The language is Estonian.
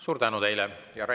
Suur tänu teile!